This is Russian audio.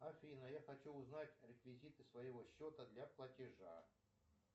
афина я хочу узнать реквизиты своего счета для платежа